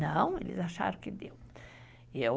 Não, eles acharam que deu.